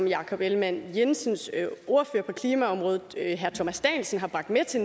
jakob ellemann jensens ordfører på klimaområdet herre thomas danielsen har bragt med til